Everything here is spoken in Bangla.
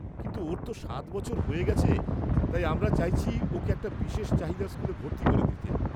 -কিন্তু, ওর তো সাত বছর হয়ে গেছে তাই আমরা চাইছি ওকে একটা বিশেষ চাহিদার স্কুলে ভর্তি করে দিতে।